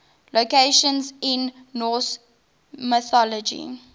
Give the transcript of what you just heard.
locations in norse mythology